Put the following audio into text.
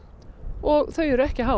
og þau eru ekki há